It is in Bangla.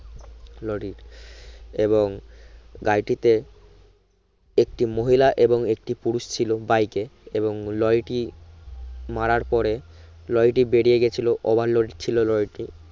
লরির এবং গাড়িটিতে একটি মহিলা এবং পুরুষ ছিলো বাইকে এবং লরিটি মারার পরে লরিটি বেরিয়ে গেছিলো overload ছিলো লরিটি